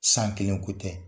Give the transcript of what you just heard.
San kelen ko tɛ.